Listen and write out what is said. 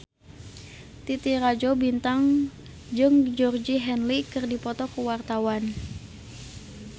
Titi Rajo Bintang jeung Georgie Henley keur dipoto ku wartawan